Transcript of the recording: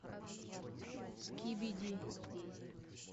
скибиди